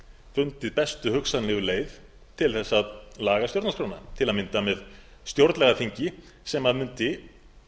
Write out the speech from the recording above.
fundið bestu hugsanlegu leið til þess að laga stjórnarskrána til að mynda með stjórnlagaþingi sem mundi